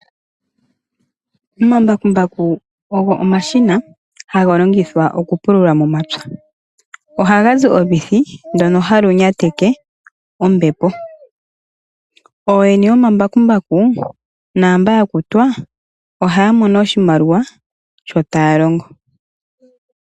Omambakumbaku ogo omashina haga longithwa okupulula momapya, ohagazi olwiithi ndoka halu nyateke ombepo. Ooyene yomambakumbaku naamba yakutwa ohaamono oshimaliwa sho taalongo.